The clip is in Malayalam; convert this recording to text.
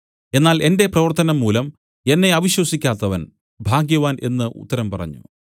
എന്നാൽ എന്റെ പ്രവർത്തനം മൂലം എന്നെ അവിശ്വസിക്കാത്തവൻ ഭാഗ്യവാൻ എന്നു ഉത്തരം പറഞ്ഞു